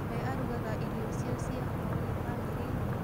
We arugaga irio cio cia hwainĩ bamĩrĩinĩ?